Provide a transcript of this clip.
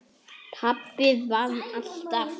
Pabbi vann alltaf.